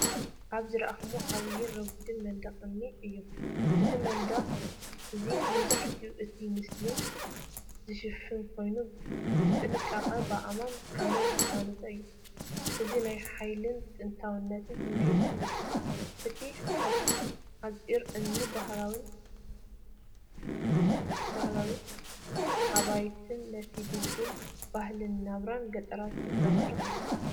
ኣብ ዝረኣኹዎ ዓቢን ረጒድን መንደቕ እምኒ እዩ። እዚ መንደቕ እዚ ንመብዛሕትኡ እቲ ስእሊ ዝሽፍን ኮይኑ፡ብጥንቃቐ ብኣእማንን ሓመድን ዝተሃንጸ እዩ። እዚ ናይ ሓይልን ጥንታዊነትን ስምዒት ይህብ። እቲ ሓጹር እምኒን ባህላዊ ኣባይትን ነቲ ድልዱል ባህልን ናብራን ገጠራት ዘንጸባርቕ እዩ።